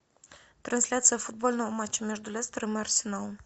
трансляция футбольного матча между лестером и арсеналом